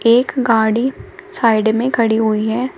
एक गाड़ी साइड में खड़ी हुई है।